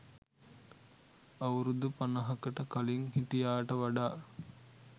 අවුරුදු පනහකට කලිං හිටියාට වඩා